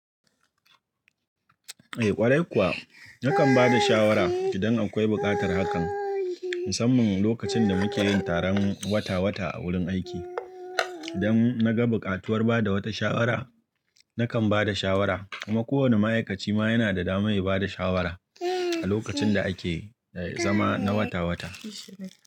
Eh ƙwarai kuwa, nakan ba da shawara idan akwai buƙatar hakan. Musamman lokacin da muke yin taron wata-wata a wurin aiki. Idan na ga buƙatuwar bada wata shawara, nakan bada shawara kuma kowane ma'aikaci ma yana da dama yaba da shawara a lokacin da ake zama na wata-wata.